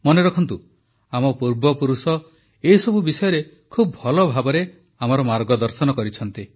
ମନେ ରଖନ୍ତୁ ଆମ ପୂର୍ବପୁରୁଷ ଏସବୁ ବିଷୟରେ ଖୁବ ଭଲ ଭାବେ ଆମ ମାର୍ଗଦର୍ଶନ କରିଛନ୍ତି